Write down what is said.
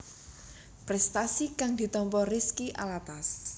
Prestasi kang ditampa Rizky Alatas